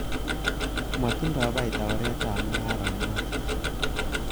Motindoi baita oretab mung'aranoton.